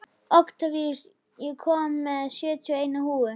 Oktavías, ég kom með sjötíu og eina húfur!